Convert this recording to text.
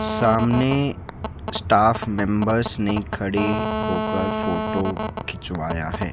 सामने staff members ने खड़े होकर फोटो खिंचवाया है।